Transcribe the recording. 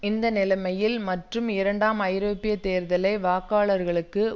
இந்த நிலைமையில் மற்றும் இரண்டாம் ஐரோப்பிய தேர்தலை வாக்காளர்களுக்கு